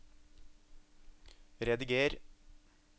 rediger